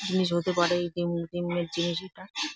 জিনিস হতে পারে জিম -এর জিনিস এটা ।